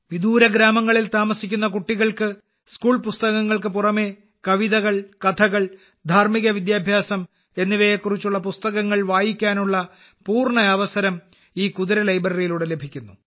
വിദൂര ഗ്രാമങ്ങളിൽ താമസിക്കുന്ന കുട്ടികൾക്ക് സ്കൂൾ പുസ്തകങ്ങൾക്ക് പുറമേ കവിതകൾ കഥകൾ ധാർമിക വിദ്യാഭ്യാസം എന്നിവയെക്കുറിച്ചുള്ള പുസ്തകങ്ങൾ വായിക്കാനുള്ള പൂർണ അവസരം ഈ കുതിര ലൈബ്രറിയിലൂടെ ലഭിക്കുന്നു